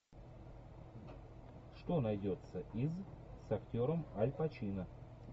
что найдется из с актером аль пачино